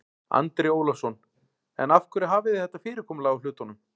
Andri Ólafsson: En af hverju hafið þið þetta fyrirkomulag á hlutunum?